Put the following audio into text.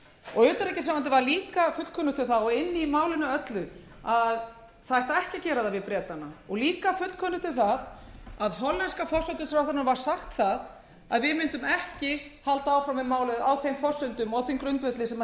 og utanríkisráðuneytinu var líka fullkunnugt um það og inni í málinu öllu að það ætti ekki að gera það við bretana og líka fullkunnugt um það að hollenska forsætisráðherranum var sagt það að við mundum ekki halda áfram með málið á þeim forsendum og á þeim grundvelli sem